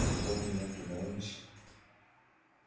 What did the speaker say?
зато у меня прибавилось